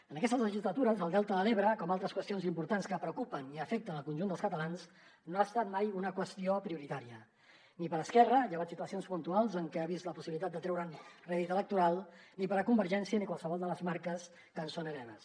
en aquestes legislatures el delta de l’ebre com altres qüestions importants que preocupen i afecten el conjunt dels catalans no ha estat mai una qüestió prioritària ni per a esquerra llevat de situacions puntuals en què ha vist la possibilitat de treure’n rèdit electoral ni per a convergència ni qualsevol de les marques que en són hereves